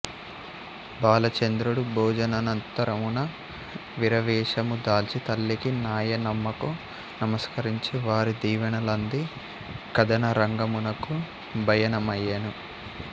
బాలచంద్రుడు భోజనానంతరమున వీరవేషము దాల్చి తల్లికి నాయనమ్మకు నమస్కరించి వారి దీవనలనంది కదనరంగమునకు బయనమయ్యెను